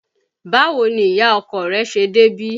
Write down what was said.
Báwo ni ìyá ọkọ rẹ̀ ṣe débí?